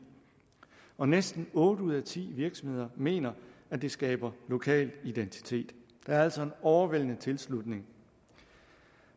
og næsten otte ud af ti virksomheder mener at det skaber lokal identitet der er altså en overvældende tilslutning